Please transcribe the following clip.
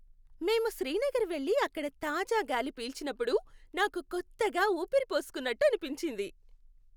మేము శ్రీనగర్ వెళ్ళి అక్కడ తాజా గాలి పీల్చినప్పుడు నాకు కొత్తగా ఊపిరి పోసుకున్నట్టు అనిపించింది.